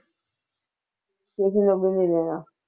ਕਿਸੇ ਨੂੰ ਵੀ ਨੀ ਦੇਣਾ।